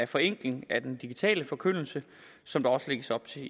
forenkling af den digitale forkyndelse som der også lægges op til